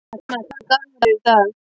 Súsanna, hvaða dagur er í dag?